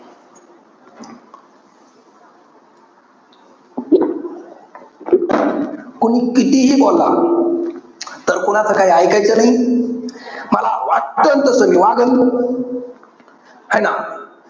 कोणी कितीही बोला. काही इकायचं नाही. मला वाटल तस मी वागलं. है ना?